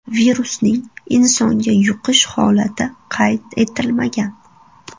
Virusning insonga yuqish holati qayd etilmagan.